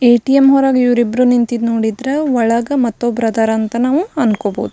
ATM ಹೊರಗ್ ಇವ್ರಿಬ್ರು ನಿಂತಿರೋದ್ ನೋಡಿದ್ರ ಒಳಗ ಮತ್ ಒಬ್ರು ಅದರ ಅಂತ ನಾವು ಅಂದ್ಕೋಬಹುದು.